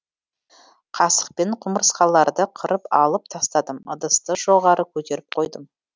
қасықпен құмырсқаларды қырып алып тастадым ыдысты жоғары көтеріп қойдым